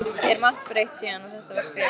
Er margt breytt síðan að þetta var skrifað?